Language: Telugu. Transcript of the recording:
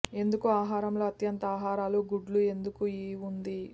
ఎందుకు ఆహారంలో అత్యంత ఆహారాలు గుడ్లు ఎందుకు ఈ ఉంది